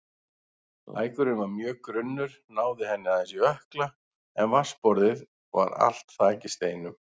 Lækurinn var mjög grunnur, náði henni aðeins í ökkla en vatnsborðið var allt þakið steinum.